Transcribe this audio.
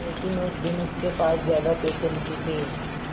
लेकिन उस दिन उसके पास ज्यादा पैसे नहीं थे